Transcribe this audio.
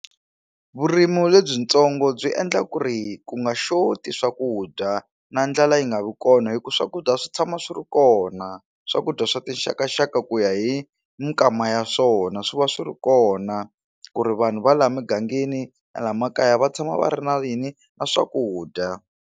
Vurimi lebyintsongo byi endla ku ri ku nga xoti swakudya na ndlwla yi nga vi kona hi ku swakudya swi tshama swi ri kona swakudya swa tixakaxaka ku ya hi minkama ya swona swi va swi ri kona ku ri vanhu va la mugangeni la makaya va tshama va ri na yini na swakudya.